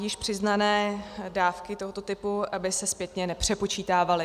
Již přiznané dávky tohoto typu by se zpětně nepřepočítávaly.